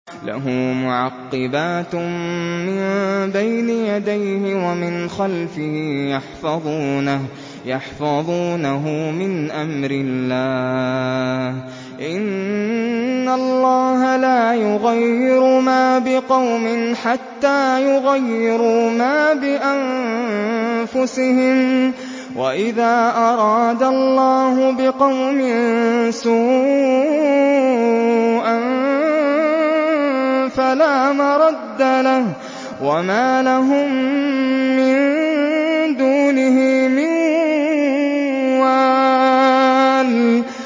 لَهُ مُعَقِّبَاتٌ مِّن بَيْنِ يَدَيْهِ وَمِنْ خَلْفِهِ يَحْفَظُونَهُ مِنْ أَمْرِ اللَّهِ ۗ إِنَّ اللَّهَ لَا يُغَيِّرُ مَا بِقَوْمٍ حَتَّىٰ يُغَيِّرُوا مَا بِأَنفُسِهِمْ ۗ وَإِذَا أَرَادَ اللَّهُ بِقَوْمٍ سُوءًا فَلَا مَرَدَّ لَهُ ۚ وَمَا لَهُم مِّن دُونِهِ مِن وَالٍ